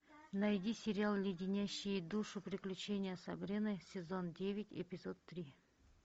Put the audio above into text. найди сериал леденящие душу приключения сабрины сезон девять эпизод три